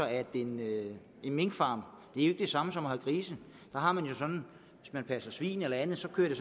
at en minkfarm ikke er det samme som at have grise hvis man passer svin eller andet kører det